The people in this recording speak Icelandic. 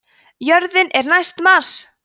jörðin er næst mars!